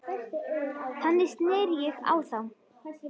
Þannig sneri ég á þá.